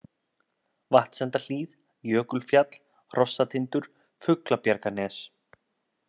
Vatnsendahlíð, Jökulfjall, Hrossatindur, Fuglabjarganes